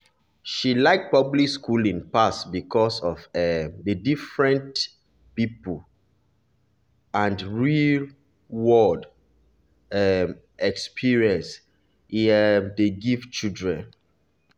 she like public schooling pass because of um the different-different people and real-world um experience e um dey give children.